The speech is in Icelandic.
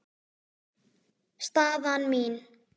Staðan mín?